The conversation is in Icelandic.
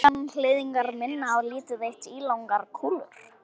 Manganhnyðlingar minna á lítið eitt ílangar kúlur.